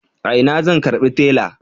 A ina zan karbi tela?